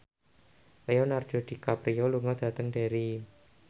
Leonardo DiCaprio lunga dhateng Derry